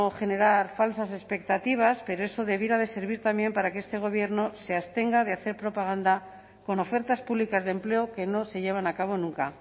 generar falsas expectativas pero eso debiera de servir también para que este gobierno se abstenga de hacer propaganda con ofertas públicas de empleo que no se llevan a cabo nunca